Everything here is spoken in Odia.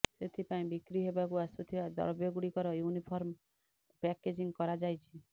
ସେଥିପାଇଁ ବିକ୍ରି ହେବାକୁ ଆସୁଥିବା ଦ୍ରବ୍ୟଗୁଡ଼ିକର ୟୁନିଫର୍ମ ପ୍ୟାକେଜିଂ କରାଯାଇଛି